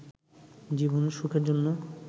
জীবনের সুখের জন্য